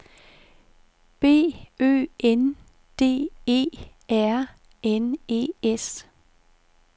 B Ø N D E R N E S